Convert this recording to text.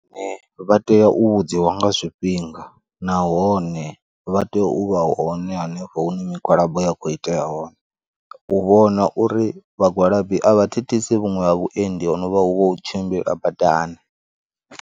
Vha tea u vhudziwa nga zwifhinga nahone vha tea u vha hone hanefho hune migwalabo ya khou itea hone, u vhona uri vhagwalabi a vha thithisi vhuṅwe ha vhuendi ho no vha hu vha hu u tshimbila badani.